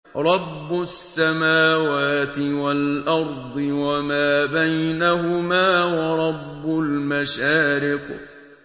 رَّبُّ السَّمَاوَاتِ وَالْأَرْضِ وَمَا بَيْنَهُمَا وَرَبُّ الْمَشَارِقِ